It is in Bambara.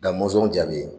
Ka mɔsɔn jaabi